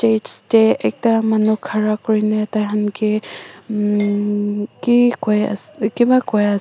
Its tey ekta manu kurena taihan ke um kekoi as kebah koi as--